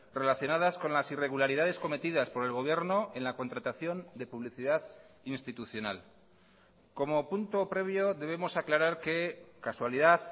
relacionadas con las irregularidades cometidas por el gobierno en la contratación de publicidad institucional como punto previo debemos aclarar que casualidad